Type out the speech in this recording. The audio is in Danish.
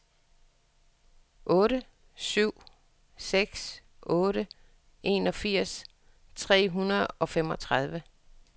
otte syv seks otte enogfirs tre hundrede og femogtredive